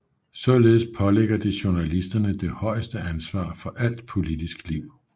Således pålægger det journalisterne det højeste ansvar for alt politisk liv